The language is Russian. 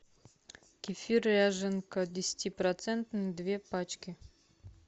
кефир ряженка десятипроцентный две пачки